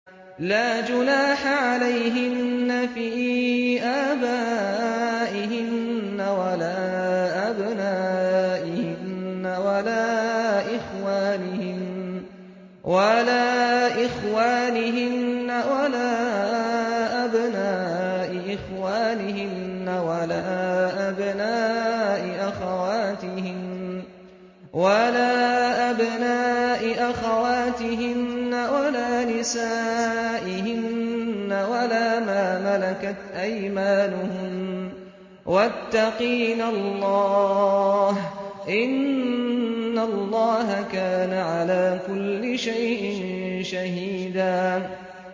لَّا جُنَاحَ عَلَيْهِنَّ فِي آبَائِهِنَّ وَلَا أَبْنَائِهِنَّ وَلَا إِخْوَانِهِنَّ وَلَا أَبْنَاءِ إِخْوَانِهِنَّ وَلَا أَبْنَاءِ أَخَوَاتِهِنَّ وَلَا نِسَائِهِنَّ وَلَا مَا مَلَكَتْ أَيْمَانُهُنَّ ۗ وَاتَّقِينَ اللَّهَ ۚ إِنَّ اللَّهَ كَانَ عَلَىٰ كُلِّ شَيْءٍ شَهِيدًا